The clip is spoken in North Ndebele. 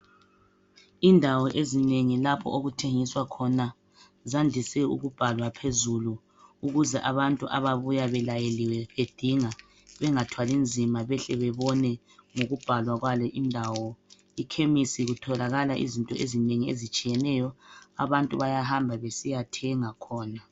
Indawo ezinengi lapho okuthengiswa khona zandise ukubhalwa phezulu ukuze abantu ababuya belayeliwe bedinga bengathwalinzima behle bebone ngokubhalwa kwale indawo. Ikhemisi litholakala izinto ezinengi ezitshiyeneyo. Abantu bayahamba besiyathenga khona.